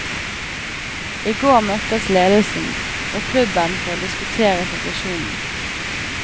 I går møttes ledelsen og klubben for å diskutere situasjonen.